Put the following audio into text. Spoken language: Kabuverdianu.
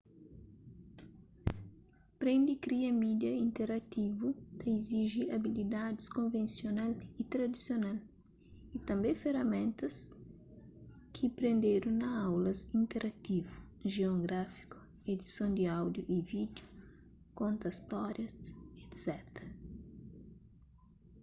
prende kria mídia interativu ta iziji abilidaids konvensional y tradisional y tanbê feraméntas ki prendedu na aulas interativu gion gráfiku edison di áudiu y vídiu konta stórias etc.